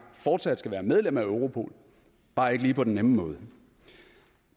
fortsat skal være medlem af europol bare ikke lige på den nemme måde